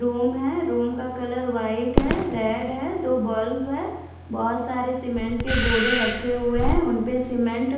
room है room का colour white है रेड है दो बल्ब हैं बहुत सारे सीमेंट के बोरे रखे हुए हैं उनपे सीमेंट --